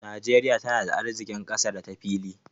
Najeriya tana da arziƙin ƙasa da ta fili.